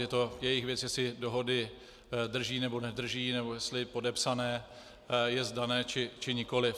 Je to jejich věc, jestli dohody drží, nebo nedrží, nebo jestli podepsané jest dané, či nikoliv.